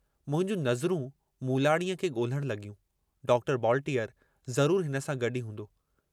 मुंहिंजूं नज़रूं मूलाणीअ खे गोल्हण लग॒यूं डॉक्टर बॉलटीअर ज़रूर हिन सां गड्डु ई हूंदो।